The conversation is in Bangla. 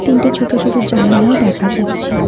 তিনটে ছোট ছোট জানালাও দেখা যাচ্ছে।